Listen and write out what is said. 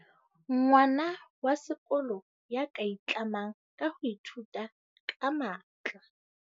Ngwana wa sekolo ya ka itlamang ka ho ithuta ka matla.